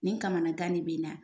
Nin kamanagan de bɛ n na.